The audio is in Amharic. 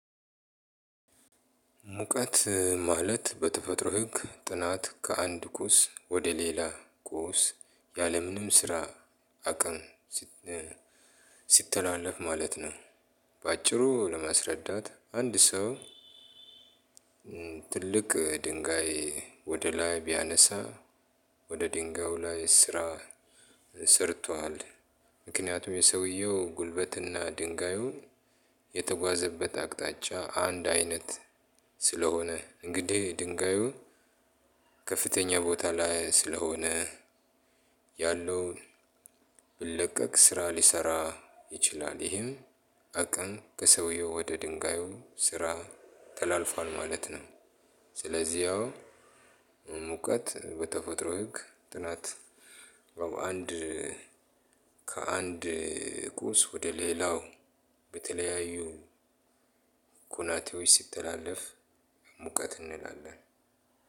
ሙቀት ማለት በተፈጥሮ ህግ ጥናት ከአንድ ቁስ ወደ ሌላ ቁስ ያለምንም ስራ አቅም ሲትላለፍ ማለት ነው። ባጭሩ ለማስረዳት አንድ ሰው። ትልቅ ድንጋይ ወደ ላይ ቢያነሳ ወደ ድንጋዩ ላይ ስራ ሰርቷል። ምክንያቱም የሰዉየው ጉልበት እና ድንጋዩ የተጓዘበት አቅጣጫ አንድ አይነት። ስለሆነ እንግዲ ድንጋዩ ከፍተኛ ቦታ ላይ ስለሆነ ያለውን ብለቀቅ ስራ ሊሰራ ይችላል። ይሄም አቅም ከሰውየው ወደ ድንጋዩ ስራ ተላልፏል ማለት ነው። ስለዚህ ያው ሙቀት በተፈጥሮ ህግ ጥናት አንድ ከአንድ ቁስ ወደ ሌላው በተለያዩ ኩናቴዎች ሲትላልፍ ሙቀት እንላለን።